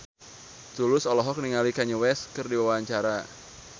Tulus olohok ningali Kanye West keur diwawancara